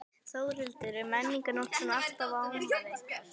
Þórhildur: Er Menningarnótt svona alltaf afmælið ykkar?